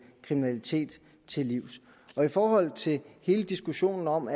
kriminalitet til livs i forhold til hele diskussionen om